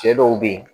Cɛ dɔw be yen